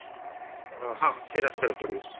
ହଁ ସେଇ ରାସ୍ତାରେ ପଡିବ